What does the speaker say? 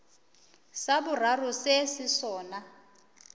sa boraro se se sona